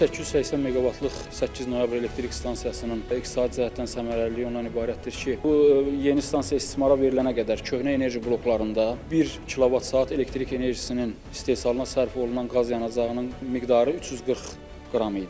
1880 meqavatlıq 8 noyabr elektrik stansiyasının iqtisadi cəhətdən səmərəliliyi ondan ibarətdir ki, bu yeni stansiya istismara verilənə qədər köhnə enerji bloklarında 1 kilovat saat elektrik enerjisinin istehsalına sərf olunan qaz yanacağının miqdarı 340 qram idi.